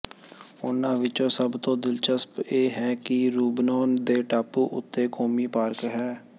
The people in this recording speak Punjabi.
ਉਨ੍ਹਾਂ ਵਿੱਚੋਂ ਸਭ ਤੋਂ ਦਿਲਚਸਪ ਇਹ ਹੈ ਕਿ ਰੂਬਨੋਂ ਦੇ ਟਾਪੂ ਉੱਤੇ ਕੌਮੀ ਪਾਰਕ ਹੈ